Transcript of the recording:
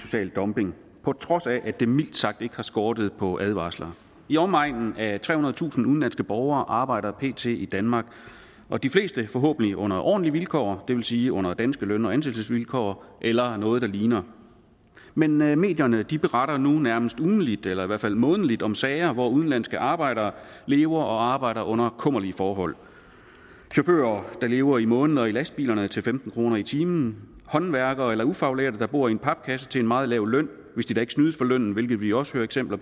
social dumping på trods af at det mildt sagt ikke har skortet på advarsler i omegnen af trehundredetusind udenlandske borgere arbejder pt i danmark og de fleste forhåbentlig under ordentlige vilkår det vil sige under danske løn og ansættelsesvilkår eller noget der ligner men men medierne beretter nu nærmest ugentligt eller i hvert fald månedligt om sager hvor udenlandske arbejdere lever og arbejder under kummerlige forhold chauffører der lever i måneder i lastbilerne til femten kroner i timen håndværkere eller ufaglærte der bor i en papkasse til en meget lav løn hvis de da ikke snydes for lønnen hvilket vi også hører eksempler